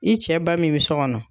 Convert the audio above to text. I cɛ ba min bi so kɔnɔ